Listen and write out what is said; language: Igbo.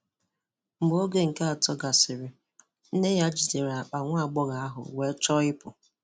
Mgbe oge nke atọ gasịrị, nne ya jidere àkpà nwa agbọghọ ahụ wee chọọ ịpụ.